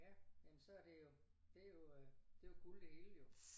Ja men så det jo det jo det jo øh det jo guld det hele jo